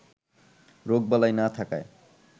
রোগবালাই না থাকায়